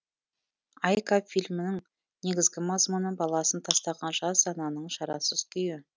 айка фильмінің негізгі мазмұны баласын тастаған жас ананың шарасыз күйі